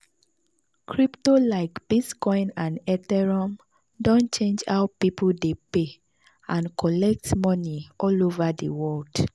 crypto like bitcoin and ethereum don change how people dey pay and collect money all over the world.